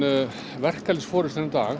verkalýðsforystan í dag